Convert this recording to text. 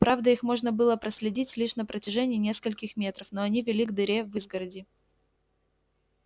правда их можно было проследить лишь на протяжении нескольких метров но они вели к дыре в изгороди